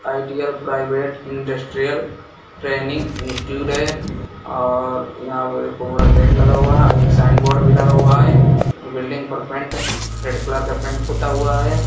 Ideal Private Industrial Training Institute है और यहाँ पे बहुत बड़ा गेट लगा हुआ है और एक साइन बोर्ड भी लगा हुआ है और बिल्डिंग पर पेंट रेड कलर का पेंट पूता हुआ है।